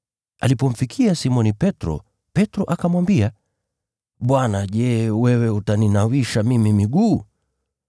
Alipomfikia Simoni Petro, Petro akamwambia, “Bwana, je, wewe utaninawisha mimi miguu?”